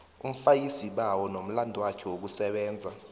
umfakisibawo nomlandwakhe wokusebenza